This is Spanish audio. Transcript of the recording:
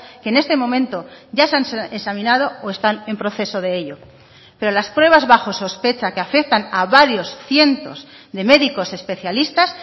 que en este momento ya se han examinado o están en proceso de ello pero las pruebas bajo sospecha que afectan a varios cientos de médicos especialistas